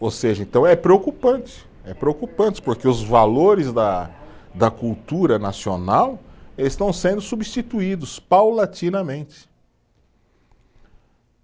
Ou seja, então é preocupante, é preocupante, porque os valores da da cultura nacional estão sendo substituídos paulatinamente.